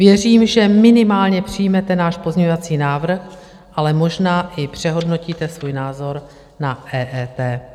Věřím, že minimálně přijmete náš pozměňovací návrh, ale možná i přehodnotíte svůj názor na EET.